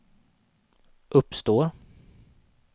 uppstår